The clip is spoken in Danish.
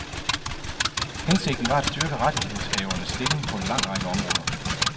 Hensigten var at styrke rettighedshavernes stilling på en lang række områder.